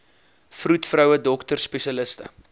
vroedvroue dokters spesialiste